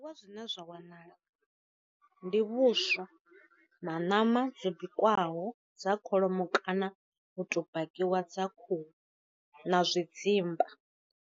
Wa zwine zwa wanala, ndi vhuswa na nama dzo bikwaho dza kholomo kana u to bakiwa dza khuhu na zwi dzimba.